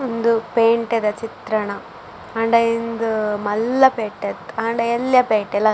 ಉಂದು ಪೇಂಟೆ ದ ಚಿತ್ರಣ ಆಂಡ ಉಂದು ಮಲ್ಲ ಪೇಂಟೆ ಅತ್ತ್ ಆಂಡ ಎಲ್ಲ್ಯ ಪೇಂಟೆ ಲ --